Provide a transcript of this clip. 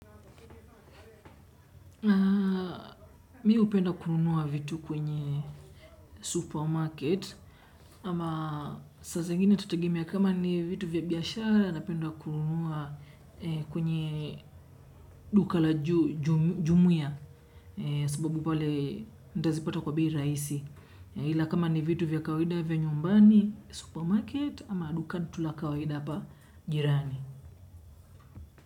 Mi hupenda kununua vitu kwenye supermarket ama saa zingine itategemea kama ni vitu vya biyashara napenda kununua kwenye duka la jumuya. Sababu pale nitazipata kwa bei rahisi. Hila kama ni vitu vya kawaida vya nyumbani supermarket ama duka tu la kawaida hapa jirani.